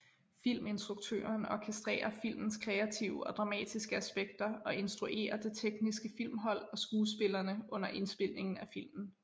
Filminstruktøren orkestrerer filmens kreative og dramatiske aspekter og instruerer det tekniske filmhold og skuespillerne under indspilningen af filmen